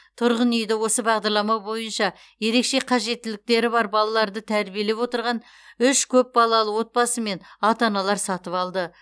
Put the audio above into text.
тұрғын үйді осы бағдарлама бойынша ерекше қажеттіліктері бар балаларды тәрбиелеп отырған үш көпбалалы отбасы мен ата аналар сатып алды